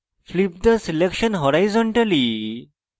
flip the selection horizontally